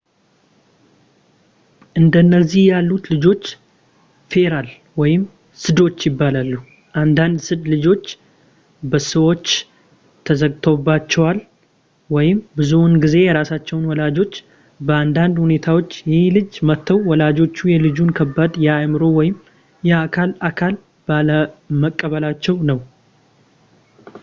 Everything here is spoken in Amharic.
እንደነዚህ ያሉት ልጆች ፌራል ወይም ስዶች ይባላሉ። አንዳንድ ስድ ልጆች በሰዎች ተዘግቶባቸዋል ብዙውን ጊዜ የራሳቸው ወላጆች፤ በአንዳንድ ሁኔታዎች ይህ ልጅ መተው ወላጆቹ የልጁን ከባድ የአእምሮ ወይም የአካል እክል ባለመቀበላቸው ነው